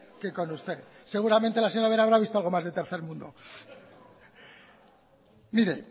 que con usted seguramente la señora ubera habrá visto algo más de tercer mundo mire